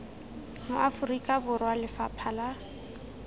mo aforika borwa lefapha la